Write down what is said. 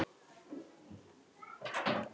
Loks er hún komin upp.